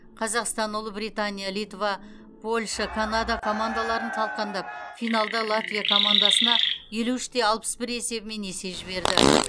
қазақстан ұлыбритания литва польша канада командаларын талқандап финалда латвия командасына елу үш те алпыс бір есебімен есе жіберді